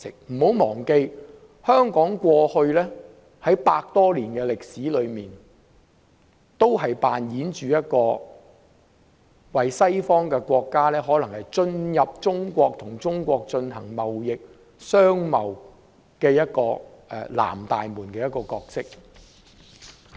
不要忘記，香港在過去百多年的歷史中，一直扮演着讓西方國家進入中國，與中國進行貿易的"南大門"角色。